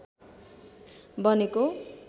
बनेको